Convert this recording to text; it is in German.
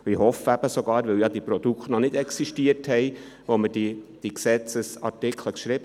Die neuen Produkte existierten noch nicht, als wir diese Gesetzesartikel schrieben.